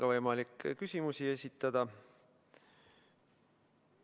On võimalik ka küsimusi esitada.